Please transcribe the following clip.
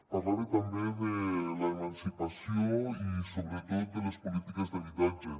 parlava també de l’emancipació i sobretot de les polítiques d’habitatge